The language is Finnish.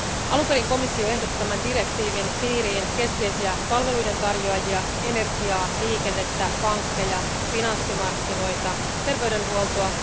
Alun perin komissio ehdotti tämän direktiivin piiriin keskeisiä palveluiden tarjoajia, energiaa, liikennettä, pankkeja, finanssimarkkinoita, terveydenhuoltoa.